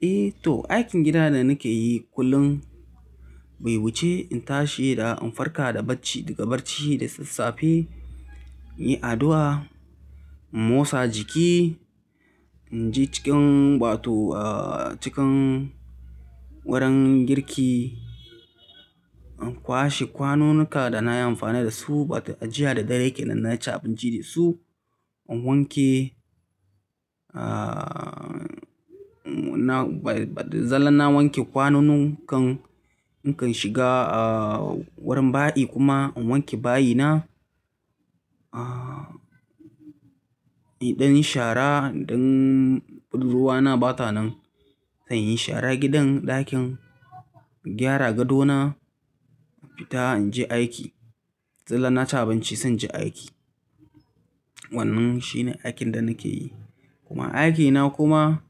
Eh to aikin gida da nake yi kullum, bai wuce in tashi da in farka da bacci daga bacci da sassafe, in yi addu'a, in motsa jiki, in je cikin wato, ah cikin wurin girki, in kwashe kwanunuka da nayi amfani da su wato a jiya da dare kenan na ci abinci da su, in wanke ah na ba da zalla na wanke kwanun kan in kan shiga ah wurin bayi kuma in wanke bayina. Ah in dan yi shara in dan ruwa na bata nan, zan yi shara gidan ɗakin, in gyara gado na, in fita in je aiki. Da zalla na ci abinci zan je aiki. Wannan shine aikin da nake yi. Kuma aikina kuma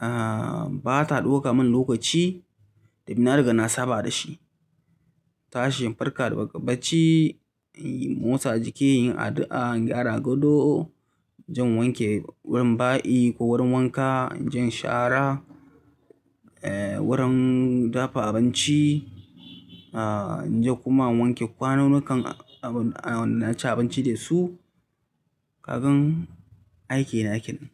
ah bata ɗauka min lokaci, sabida na ringa na saba da shi. Tashi in farka daga bacci, in motsa jiki, in yi addu'a, in gyara gado, zan wanke wurin bayi ko wurin wanka, inje in shara, eh wurin dafa abinci ah in je kuma in wanke kwanunnukan abin ah wannan na ci abinci da su, kagan aikina kenan.